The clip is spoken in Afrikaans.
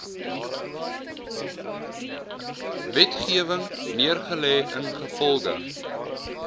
wetgewing neergelê ingevolge